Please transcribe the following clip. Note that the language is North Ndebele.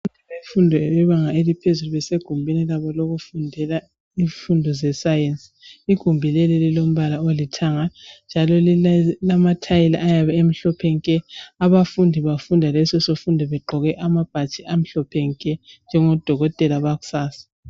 Abafundi bebanga eliphezulu besegumbini labo lokufundela izifundo zesayensi. Igumbi leli lilombala olithanga njalo lamathiyili ayabe a emhlophe nke. Abafundi bafunda leso sifundo bengqoke ababhatshi amhlophe nke njengodokotela bakusasa.